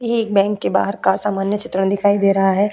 यह एक बैंक के बाहर का सामान्य चित्रण दिखाई दे रहा है।